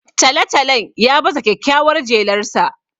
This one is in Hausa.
Talo-talon ya baza kyakkyawar jelarsa